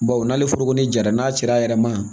Baw n'ale foro ni jara n'a cira a yɛrɛ ma